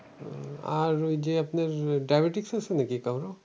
আর ওই যে আপনার diabetes আছে নাকি কারো?